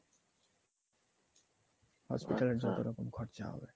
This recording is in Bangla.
hospital এর যতরকম খরচা হবে